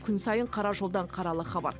күн сайын қара жолдан қаралы хабар